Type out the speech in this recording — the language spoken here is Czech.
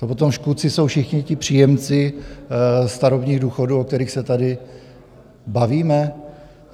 To potom škůdci jsou všichni ti příjemci starobních důchodů, o kterých se tady bavíme.